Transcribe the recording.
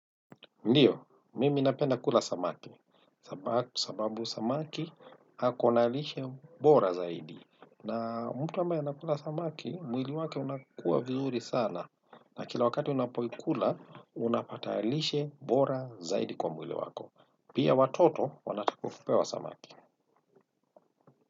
Ndiyo, mimi napenda kula samaki, sababu samaki ako na lishe bora zaidi. Na mtu ambaye anakula samaki, mwili wake unakuwa vizuri sana. Na kila wakati unapoikula, unapata lishe bora zaidi kwa mwili wako. Pia watoto wanatakiwa kupewa samaki.